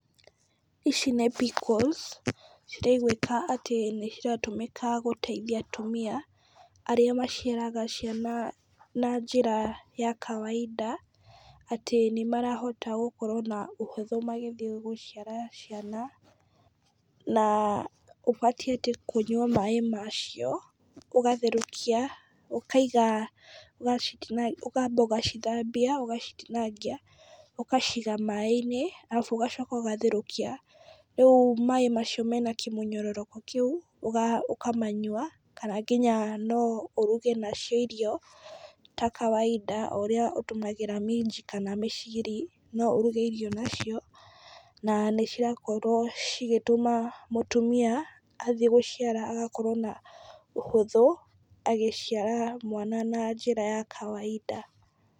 Ici nĩ pickles, ciraigwĩka atĩ nĩ ciratũmĩka gũteitha atumia , arĩa maciaraga ciana na njĩra ya kawaida, atĩ nĩmarahota gũkorwo na ũhũthũ magĩthiĩ gũciara ciana, na ũbatiĩ atĩ kũnyua maaĩ macio, ũgatherũkia , ũkaiga ũgacitina ũkamba ũgacithambia, ũgacitinangia, ũgaciiga maaĩ-inĩ, arabu ũgacoka ũgatherũkia, rĩu maaĩ macio mena kĩmũnyororoko kĩu , ũga ũkamanyua, na nginya no ũruge na cio irio, ta kawaida o ũrĩa ũtũmagĩra minji kana mĩciri , no ũruge irio na cio , na nĩ cirakorwo cigĩtũma mũtumia athiĩ gũciara agakorwo na ũhũthũ, agĩciara mwana na njĩra ya kawaida.